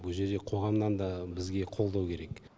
бұ жерде қоғамнан да бізге қолдау керек